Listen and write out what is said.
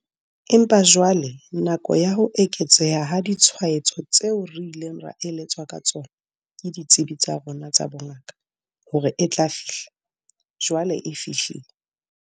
Empa jwale nako ya ho eketseha ha ditshwaetso tseo re ileng ra eletswa ka tsona ke ditsebi tsa rona tsa bongaka hore e tla fihla, jwale e fihlile.